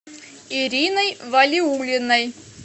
ириной валиуллиной